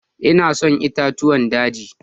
Ina son itatuwan dagi.